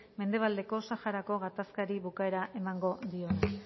mendebaldeko saharako gatazkari bukaera emango diona